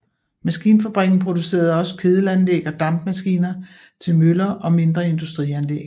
Maskinfabrikken producerede også kedelanlæg og dampmaskiner til møller og mindre industrianlæg